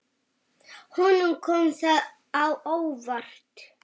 Honum kom það á óvart.